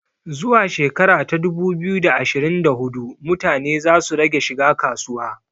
Zuwa shekara ta dubu biyu da ashirin da hudu mutane za su rage shiga kasuwa